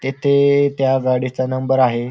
तेथे त्या गाडीचा नंबर आहे.